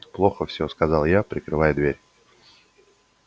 плохо всё сказал я прикрывая дверь